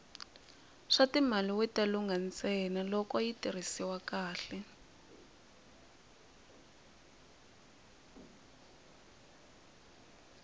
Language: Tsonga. swatimali wita lungha ntsena loko yi tirhisiwa kahle